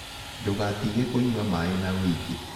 Ndũgatĩge kũnyua maĩĩ na wĩĩngĩ